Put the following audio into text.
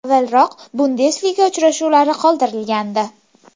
Avvalroq Bundesliga uchrashuvlari qoldirilgandi.